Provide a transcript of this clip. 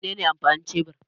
Mene ne amfanin shebur?